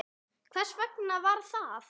Hvers vegna var það?